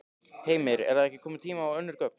Heimir: Er þá ekki kominn tími á önnur gögn?